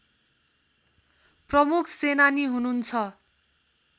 प्रमुख सेनानी हुनुहुन्छ